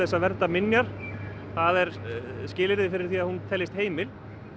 að vernda minjar það er skilyrði fyrir því að hún teljist heimil